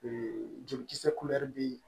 jolikisɛ bɛ yen